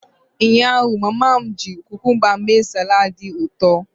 Ụnyaahụ, mama m ji cucumba mee salad dị ụtọ.